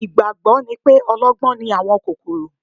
Ìgbàgbọ́ ni pé ọlọ́gbọ́n ni àwọn kòkòrò